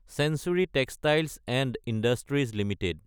century Textiles & Industries Ltd